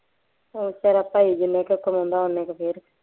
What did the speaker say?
ਉਹ ਬੇਚਾਰਾ ਭਾਈ ਜਿੰਨੇ ਕੁ ਕਮਾਉਂਦਾ ਉੱਨੇ ਕੁ ਫੇਰ